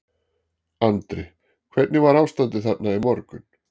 Andri: Hvernig var ástandið þarna í morgun?